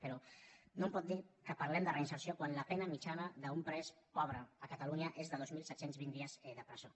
però no em pot dir que parlem de reinserció quan la pena mitjana d’un pres pobre a catalunya és de dos mil set cents i vint dies de presó